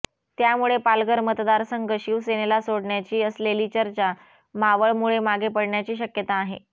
त्यामुळे पालघर मतदारसंघ शिवसेनेला सोडण्याची असलेली चर्चा मावळमुळे मागे पडण्याची शक्यता आहे